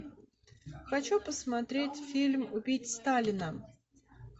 хочу посмотреть фильм убить сталина